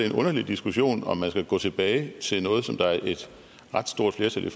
en underlig diskussion om man skal gå tilbage til noget der er et ret stort flertal